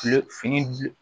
Kile fini